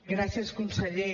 gràcies conseller